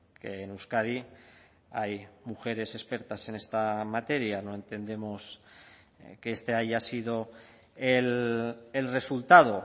que en euskadi hay mujeres expertas en esta materia no entendemos que este haya sido el resultado